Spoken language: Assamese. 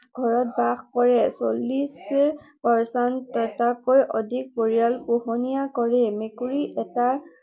ঘৰত বাস কৰে। চল্লিশ শতাংশতকৈও অধিক পৰিয়ালে পোহনীয়া কৰে। মেকুৰী এটাৰ